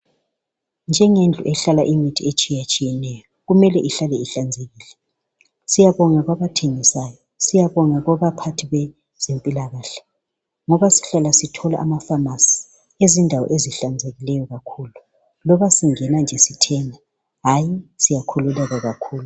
Njengendlu ehlala imithi etshiyetshiyeneyo, kumele ihlale ihlanzekile. Siyabonga kwabathengisayo, siyabonga kubaphathi bezempilakahle ngobasihlala sithola ama pharmacy endaweni ezihlanzekileyo kakhulu. Noma singena nje sithenga hayi, siyakhululeka kakhulu.